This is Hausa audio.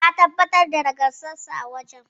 Ya tabbatar da nagartarsa a wajen.